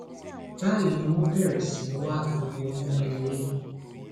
báyìí ni wọn bẹrẹ sí í wá gbogbo inú ilé